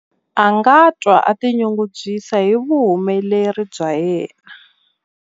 A nga twa a tinyungubyisa hi vuhumeleri bya yena.